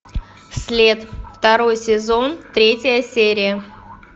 след второй сезон третья серия